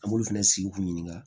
An b'olu fɛnɛ sigi k'u ɲininka